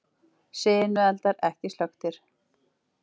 Sinueldar ekki slökktir